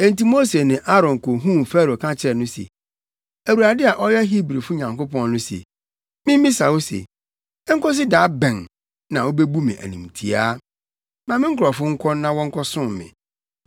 Enti Mose ne Aaron kohuu Farao ka kyerɛɛ no se, “ Awurade a ɔyɛ Hebrifo Nyankopɔn no se mimmisa wo se, ‘Enkosi da bɛn na wubebu me animtiaa? Ma me nkurɔfo nkɔ na wɔnkɔsom me.